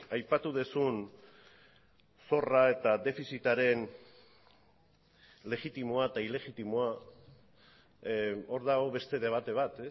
aipatu duzun zorra eta defizitaren legitimoa eta ilegitimoa hor dago beste debate bat